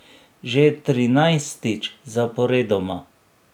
Že trinajstič zaporedoma.